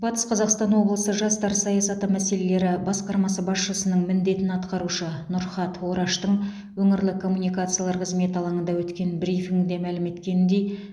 батыс қазақстан облысы жастар саясаты мәселелері басқармасы басшысының міндетін атқарушы нұрхат ораштың өңірлік коммуникациялар қызметі алаңында өткен брифингіде мәлім еткеніндей